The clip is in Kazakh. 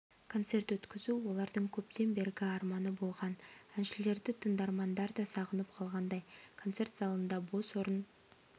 концерт өткізу олардың көптен бергі арманы болған әншілерді тыңдармандар да сағынып қалғандай концерт залында бос орын